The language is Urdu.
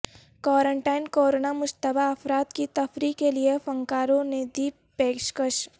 کوارنٹائن کورونا مشتبہ افراد کی تفریح کےلئے فنکاروں نے دی پیشکش